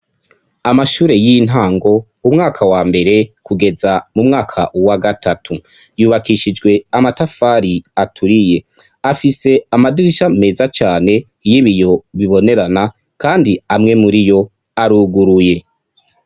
Amashure y'intango umwaka wa mbere kugeza mu mwaka wa gatatu. Yubakishijwe amatafari aturiye. Afise amadirisha meza cane y'ibiyo bibonerana kandi amwe muri yo aruguruye.